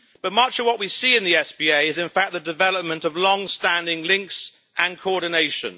Much of what we see in the SPA is, in fact, the development of long-standing links and coordination.